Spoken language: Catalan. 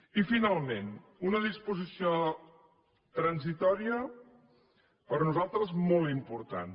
i finalment una disposició transitòria per nosaltres molt important